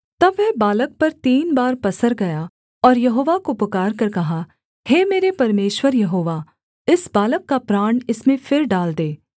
तब वह बालक पर तीन बार पसर गया और यहोवा को पुकारकर कहा हे मेरे परमेश्वर यहोवा इस बालक का प्राण इसमें फिर डाल दे